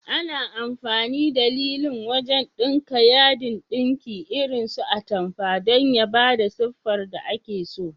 Ana amfani da lilin wajan ɗinka yadin ɗinki irin so atamfa dan ya bada siffar da ake so.